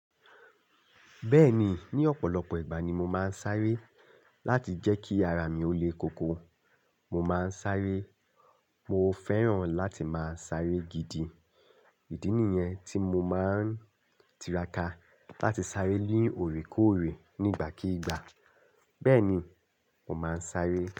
Bẹ́ẹ̀ni, ní ọ̀pọ̀lọpọ̀ ìgbà ni mo máa ń sáré láti jẹ́ kí ara mi ó le koko, mo máa ń sáré. Mo fẹ́ràn láti máa sáré gidi, ìdí nìyẹn tí mo máa ń tiraka láti sáré ni òré kóòré, nígbà kigbà. Bẹ́ẹ̀ni, mo máa ń sáré.